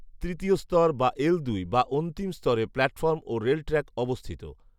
তৃতীয় স্তর বা এল দুই বা অন্তিম স্তরে প্ল্যাটফর্ম ও রেল ট্র্যাক অবস্থিত